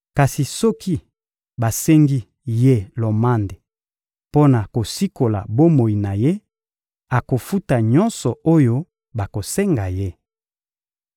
Kasi soki basengi ye lomande mpo na kosikola bomoi na ye, akofuta nyonso oyo bakosenga ye.